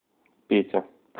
петя